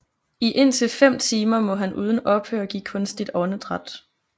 I indtil fem timer må han uden ophør give kunstigt åndedræt